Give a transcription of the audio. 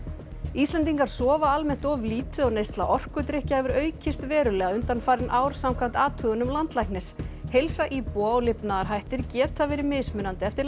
Íslendingar sofa almennt of lítið og neysla orkudrykkja hefur aukist verulega undanfarin ár samkvæmt athugunum landlæknis heilsa íbúa og lifnaðarhættir geta verið mismunandi eftir